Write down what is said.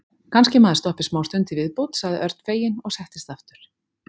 Kannski maður stoppi smástund í viðbót sagði Örn feginn og settist aftur.